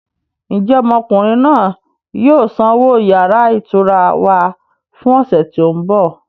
Ń jẹ́ ọmọkùnrin náà yìí ó sanwó yàrá ìtura wá fún ọ̀sẹ̀ tí ó ń bọ̀?